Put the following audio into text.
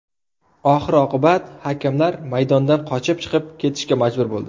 Oxir-oqibat hakamlar maydondan qochib chiqib ketishga majbur bo‘ldi.